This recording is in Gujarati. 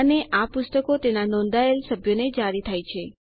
અને આ પુસ્તકો તેના નોંધાયેલ થયેલ સભ્યોને જારી થાય છે